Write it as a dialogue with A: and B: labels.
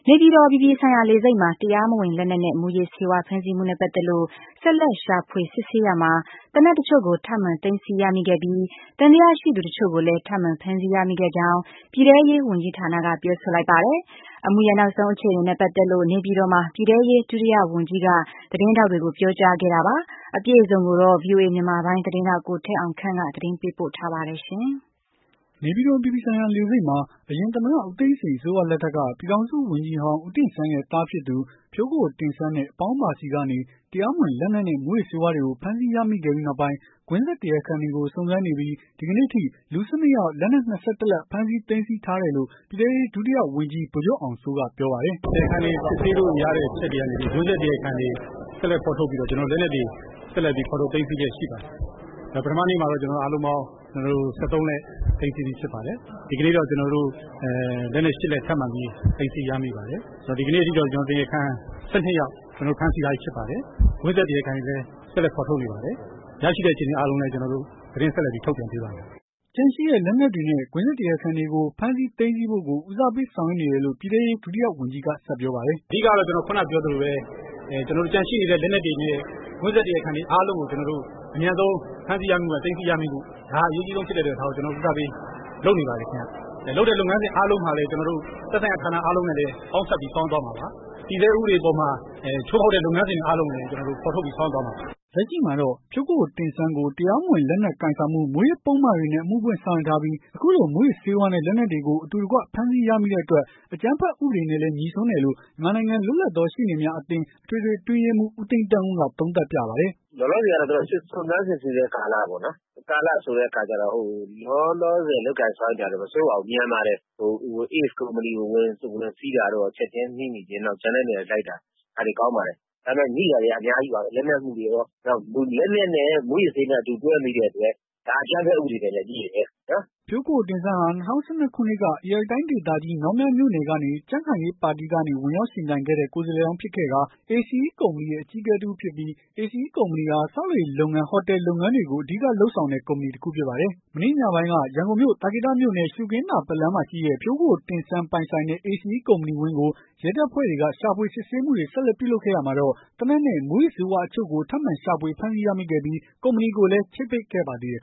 A: နေပြည်တော် အပြည်ပြည်ဆိုင်ရာ လေဆိပ်မှာ တရားမဝင်လက်နက်နဲ့ မူးယစ်ဆေးဝါး ဖမ်းဆီးမှုနဲ့ ပတ်သက်လို့ ဆက်လက် ရှာဖွေစစ်ဆေးရာမှာ သေနတ်တချို့ကို ထပ်မံသိမ်းဆည်းရမိခဲ့ပြီး၊ သံသယရှိသူ တချို့ကိုလည်း ထပ်မံဖမ်းဆီးခဲ့ကြောင်း ပြည်ထဲရေး ဝန်ကြီးဌာနက ပြောဆိုလိုက်ပါတယ်။ အမှုရဲ့ နောက်ဆုံးအခြေအနေနဲ့ ပတ်သက်လို့ နေပြည်တော်မှာ ပြည်ထဲရေး ဒုတိယ ဝန်ကြီးက သတင်းထောက်တွေကို ပြောကြားခဲ့တာပါ။ အပြည့်အစုံကိုတော့ ဗွီအိုအေမြန်မာပိုင်း သတင်းထောက် ကိုထက်အောင်ခန့်က သတင်းပေးပို့ထားပါတယ်။
B: နေပြည်တော်အပြည်ပြည်ဆိုင်ရာလေဆိပ်မှာ အရင်သမ္မတဦးသိန်းစိန်အစိုးရ လက်ထက်က ပြည်ထောင်စုဝန်ကြီးဟောင်း ဦးတင့်ဆန်းရဲ့သားဖြစ်သူ ဖြိုးကိုကိုတင့်ဆန်းနဲ့ အပေါင်းပါဆီကနေ တရားမဝင်လက်နက်နဲ့ မူးယစ်ဆေးဝါးတွေကိုဖမ်းဆီးရမိခဲ့ပြီးနောက်ပိုင်း ကွင်းဆက်တရားခံတွေကို စုံစမ်းနေပြီးဒီကနေ့အထိ လူ ၁၂ ယောက် လက်နက် ၂၁ လက် ဖမ်းဆီး သိမ်းဆည်းထားတယ်လို့ ပြည်ထဲရေးဒုတိယဝန်ကြီး ဗိုလ်ချုပ်အောင်စိုးက ပြောပါ
C: တယ်။ “တရားခံတွေကို စစ်ဆေးလို့ရတဲ့အချက်တွေကနေပြီး ကွင်းဆက်တရားခံတွေကို ဆက်လက်ဖော်ထုတ်ပြီးတော့ လက်နက်တွေ ဆက်လက်ဖော်ထုတ်သိမ်းဆည်းလျက်ရှိပါတယ်။ ပထမနေ့မှာလဲ ကျနော်တို့အားလုံးပေါင်း ၁၃ လက်သိမ်းဆည်းပြီးဖြစ်ပါတယ်။ ဒီကနေ့တော့ ကျနော်တို့လက်နက် ၈ လက်ထပ်မံပြီး သိမ်းဆည်းရမိပါတယ်။ ဒီကနေ့အထိတော့ တရားခံ ၁၂ ယောက်ဖမ်းဆီးထားပြီးဖြစ်ပါတယ်။ ကွင်းဆက်တရားခံတွေကို ဆက်လက်ဖော်ထုတ်နေပါတယ်။ ရရှိတဲ့အချိန်တွေမှာလည်း ကျနော်တို့ သတင်းဆက်လက်ပြီးထုတ်ပြန်ပေးပါမယ်။
D: ” ကျန်ရှိတဲ
B: ့ လက်နက်တွေနဲ့ ကွင်းဆက်တရားခံတွေကို ဖမ်းဆီးသိမ်းဆည်းဖို့ကို ဦးစားပေးဆောင်ရွက်နေတယ်လို့ ပြည်ထဲရေးဒုတိယဝန်ကြီး
C: က ဆက်ပြောပါတယ်။ “အဓိကတော့ ကျနေ်ာတို့ ခုနကပြောသလိုပဲ ကျန်ရှိနေတဲ့ လက်နက်တွေနဲ့ ကွင်းဆက်တရားခံတွေ အားလုံးကိုကျနော်တို့ အမြန်ဆုံး ဖမ်းဆီးရမိဖို့ သိမ်းဆည်းရမိဖို့ ဒါကို ဦးစားပေးလုပ်နေပါတယ်ခင်ဗျ။ လုပ်တဲ့လုပ်ငန်းစဉ်အားလုံးဟာလည်း သက်ဆိုင်ရာဌာနအားလုံးနဲ့လည်း ပေါင်းစပ်ပြီးတော့ ဆောင်ရွက်သွားမှာပါ။ တည်ဆဲဥပဒေအပေါ်မှာ ချိုးဖောက်တဲ့ လုပ်ငန်းစဉ်တွေအားလုံးကိုလည်း ကျနော်တို့ ဖော်ထုတ်ပြီးတော့ ဆောင်ရွက်သွားမှာပါ။”
B: လက်ရှိမှာတော့ ဖြိုးကိုကိုတင့်ဆန်းကို တရားမဝင်လက်နက်ကိုင်ဆောင်မှု မူးယစ်ပုဒ်မတွေနဲ့ အမှုဖွင့်ဆောင်ရွက်ထားပြီး အခုလိုမူးယစ်ဆေးဝါးနဲ့လက်နက်တွေကို အတူတကွဖမ်းဆီးရမိတဲ့အတွက် အကြမ်းဖက်ဥပဒေနဲ့လည်း ငြိစွန်းတယ်လို့ မြန်မာနိုင်ငံလွတ်လပ်သောရှေ့နေများအသင်း အထွေထွေအတွင်းရေးမှူး ဦးသိန်းသန်းဦးက သုံးသပ်ပြပါတယ်။
D: “လောလောဆည်ကတော့ စုံစမ်းစစ်ဆေးတဲ့ကာလပေါ့နော် ။ စုံစမ်းစစ်ဆေးတဲ့ကာလဆိုတော့ လောလောဆည်လုပ်ကိုင်ဆောင်ရွက်နေတာကတော့ မဆိုးပါဘူး မြန်ပါတယ်။ ACE ကုမ္ပဏီကို ဝင်ဆီးတာတို့ ကျန်တဲ့နေရာတွေကိုလိုက်တာ ဒါတွေက ကောင်းပါတယ်။ ဒါပေမယ့် မိတာတွေကတော့ အများကြီးပါပဲ။ လက်နက်အမှုတွေပေါ့ လက်နက်နဲ့ မှုးယစ်ဆေးဝါး အတူတွဲမိတဲ့အတွက် ဒါအကြမ်းဖက်ဥပဒေနဲ့လည်းငြိတယ်။”
B: ဖြိုးကိုကိုတင့်ဆန်းသည် ၂၀၁၂ ခုနှစ်က ဧရာဝတီတိုင်းဒေသကြီး မြောင်းမြမြို့နယ်ကနေ ကြံ့ခိုင်ရေးပါတီကနေ ဝင်ရောက်ယှဉ်ပြိုင်ခဲ့တဲ့ ကိုယ်စားလှယ်လောင်းဖြစ်ခဲ့ကာ ACE ကုမ္ပဏီရဲ့ အကြီးအကဲတစ်ဦးဖြစ်ပြီး ACE ကုမ္ပဏီဟာ ဆောက်လုပ်ရေးလုပ်ငန်း ၊ ဟိုတယ်လုပ်ငန်းတွေကို အဓိကလုပ်ဆောင်တဲ့ ကုမ္ပဏီတခုဖြစ်ပါတယ်။ မနေ့ညပိုင်းက ရန်ကုန်မြို့ သာကေတမြို့နယ် ရှုခင်းသာပတ်လမ်းမှာရှိတဲ့ ဖြိုးကိုကိုတင့်ဆန်း ပိုင်ဆိုင်တဲ့ ACE ကုမ္ပဏီဝင်းကို ရဲတပ်ဖွဲ့တွေက ရှာဖွေစစ်ဆေးမှုတွေဆက်လက်ပြုလုပ်ခဲ့ရာမှာတော့ သေနတ်နဲ့ မူးယစ်ဆေးဝါးအချို့ကို ထပ်မံရှာဖွေဖမ်းဆီးရမိခဲ့ပြီး ကုမ္ပဏီကိုလည်း ချိတ်ပိတ်ခဲ့ပါသေးတယ်